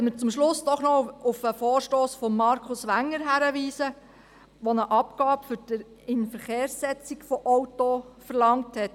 Zum Schluss möchten wir Sie noch auf den Vorstoss von Markus Wenger hinweisen, der eine Abgabe für die Inverkehrsetzung von Autos verlangt hat.